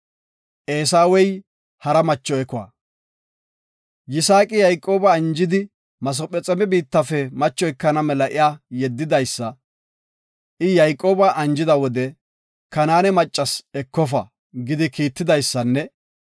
Yisaaqi Yayqooba anjidi Masephexoome biittafe macho ekana mela iya yedidaysa, I Yayqooba anjida wode, “Kanaane maccas ekofa” gidi kiittidaysanne,